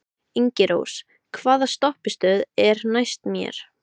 Ingirós, hvaða stoppistöð er næst mér?